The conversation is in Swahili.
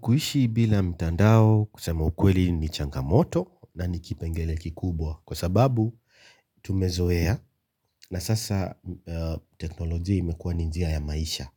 Kuishi bila mtandao kusema ukweli ni changamoto na nikipengele kikubwa kwa sababu tumezoea na sasa teknolojia imekuwa ni njia ya maisha